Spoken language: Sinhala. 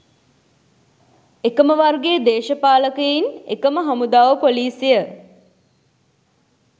එකම වර්ගයේ දේශපාලකයින් එකම හමුදාව පොලීසිය